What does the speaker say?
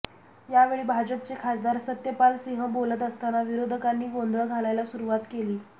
यावेळी भाजपचे खासदार सत्यपाल सिंह बोलत असताना विरोधकांनी गोंधळ घालायला सुरुवात केली